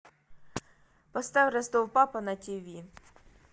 поставь ростов папа на тиви